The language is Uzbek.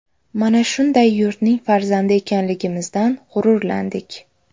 Mana shunday yurtning farzandi ekanligimizdan g‘ururlandik.